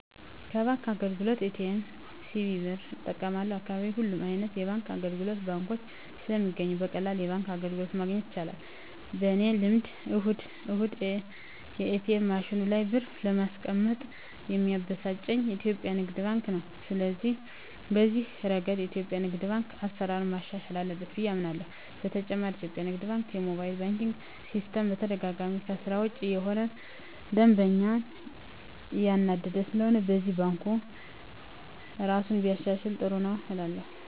ከባንክ አገልግሎት ኤ.ቲ.ኤም፣ ሲቪ ብር እጠቀማለሁ፣ በአካባቢየ ሁሉም አይነት የባንክ አገልግሎቶችና ባንኮች ስለሚገኙ በቀላሉ የባንክ አገልግሎት ማግኘት ይቻላል። በኔ ልምድ እሁድ እሁድ የኤትኤም ማሽኑ ላይ ብር ባለማስቀመጥ ሚያበሳጨኝ የኢትዮጲያ ንግድ ባንክ ነው። ስለሆነም በዚህ እረገድ የኢትዮጲያ ንግድ ባንክ አሰራሩን ማሻሻል አለበት ብየ አምናለሆ። በተጨማሪም የኢትዮጲያ ንግድ ባንክ የሞባይል ባንኪን ሲስተም በተደጋጋሚ ከስራ ውጭ እየሆነ ደንበኛን እያናደደ ስለሆነም በዚህም ባንኩ እራሱን ቢያሻሽል ጥሩ ነው እላለሁ።